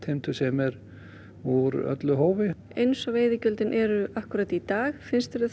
sem er úr öllu hófi eins og veiðigjöldin eru akkúrat í dag finnst þér